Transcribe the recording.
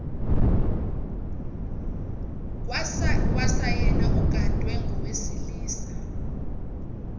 kwasayena ugadwe ngowesilisa